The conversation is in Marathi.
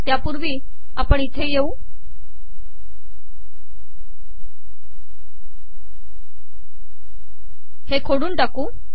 तयापूवी आपण हे खोडून टाकू